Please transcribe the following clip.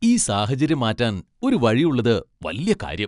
ഈ സാഹചര്യം മാറ്റാൻ ഒരു വഴിയുള്ളത് വല്യ കാര്യം.